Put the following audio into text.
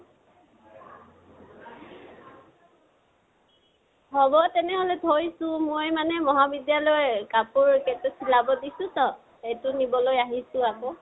হ'ব তেনেহলে থৈছো। মই মানে মহাবিদ্য়ালয়ৰ কাপোৰ কেইতা চিলাব দিছোটো । সেইটো লবলৈ আহিছো আকৌ।